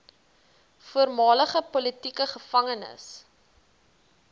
voormalige politieke gevangenes